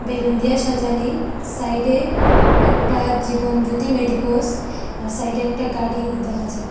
Balloon দিয়া সাজানি side -এ একটা জীবন জ্যোতি মেডিকোস আর সাইড -এ একটা গাড়িও দেখা যার।